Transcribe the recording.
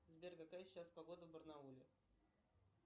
сбер какая сейчас погода в барнауле